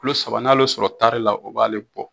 Kilo saba, n'a ale ye o sɔrɔ taari la o b' a ale bɔ